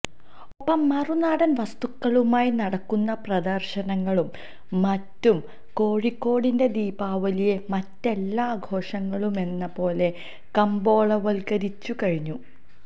ഒപ്പം മറുനാടന് വസ്തുക്കളുമായി നടക്കുന്ന പ്രദര്ശനങ്ങളും മറ്റും കോഴിക്കോടിന്റെ ദീപാവലിയെ മറ്റെല്ലാ ആഘോഷങ്ങളുമെന്നപോലെ കമ്പോളവല്ക്കരിച്ചുകഴിഞ്ഞു